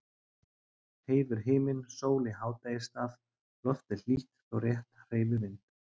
Heiður himinn, sól í hádegisstað, loftið hlýtt þó rétt hreyfi vind.